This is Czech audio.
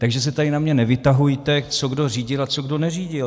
Takže se tady na mě nevytahujte, co kdo řídil a co kdo neřídil!